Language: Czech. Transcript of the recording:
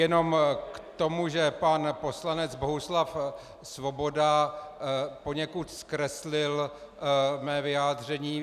Jenom k tomu, že pan poslanec Bohuslav Svoboda poněkud zkreslil mé vyjádření.